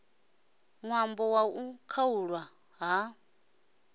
ṅwambo wa u khaulwa ha